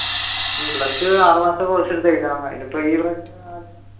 ഉം plus two ആറു മാസത്തെ course എടുത്ത് എഴുതിയ മതി